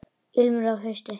Ilmur af hausti!